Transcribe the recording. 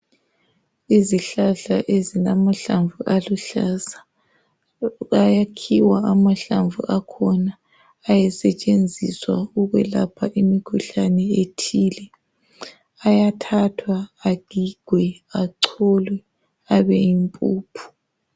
Izihlahla ezilamahlamvu aluhlaza ayakhiwa amahlamvu akhona ayesebenziswa ukwelapha imikhuhlani ethile ayathathwa agigwe acholwe abeyimpuphu